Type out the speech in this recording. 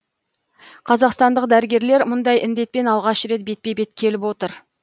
қазақстандық дәрігерлер мұндай індетпен алғаш рет бетпе бет келіп отыр